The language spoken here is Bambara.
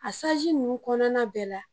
A ninnu kɔnɔna bɛɛ la